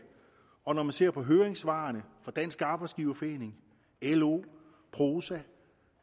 og når man ser på høringssvarene fra dansk arbejdsgiverforening lo prosa